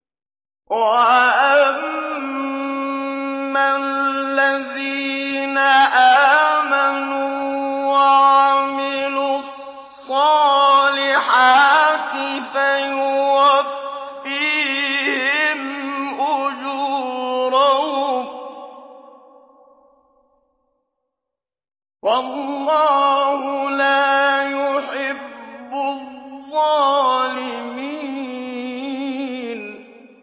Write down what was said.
وَأَمَّا الَّذِينَ آمَنُوا وَعَمِلُوا الصَّالِحَاتِ فَيُوَفِّيهِمْ أُجُورَهُمْ ۗ وَاللَّهُ لَا يُحِبُّ الظَّالِمِينَ